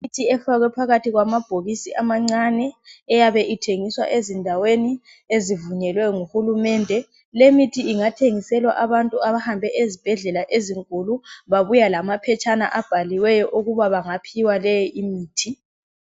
Imithi efakwe phakathi kwamabhokisi amancane eyabe ithengiswa ezindaweni ezivunyelwe nguhulumende le mithi ingathengiselwa abantu abahambe ezibhedlela ezinkulu babuya lamaphetshana abhaliweyo ukuba bangaphiwa leyi imithi.